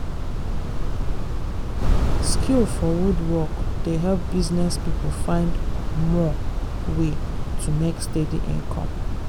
skill for wood work dey help business people find more way to make steady income.